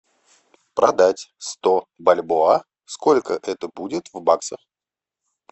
продать сто бальбоа сколько это будет в баксах